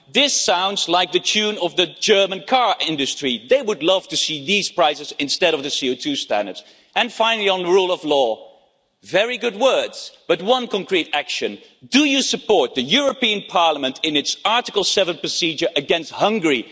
This sounds like the tune of the German car industry they would love to see these prices instead of the CO2 standards. Finally, on the rule of law, there have been some very good words, but one concrete action, so do you support the European Parliament in its Article 7 procedure against Hungary?